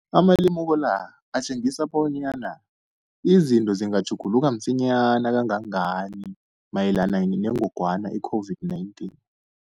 Amalemuko la atjengisa bonyana izinto zingatjhuguluka msinyana kangangani mayelana nengogwana i-COVID-19.